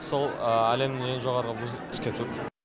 сол әлемдің ең жоғары вузы түсіп кету